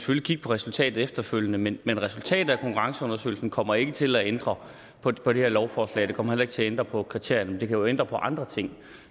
vil kigge på resultatet efterfølgende men men resultatet af konkurrenceundersøgelsen kommer ikke til at ændre på det her lovforslag det kommer heller ikke til at ændre på kriterierne men det kan jo ændre på andre ting